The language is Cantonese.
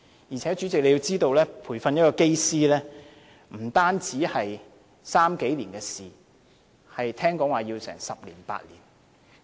而且，主席，要知道培訓一位機師不單是3年以上的事情，聽說也要8至10年。